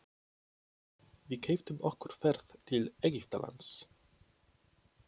Við keyptum okkur ferð til Egyptalands.